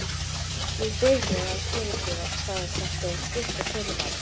Ég bið þig að fyrirgefa hvað þetta er stuttur fyrirvari.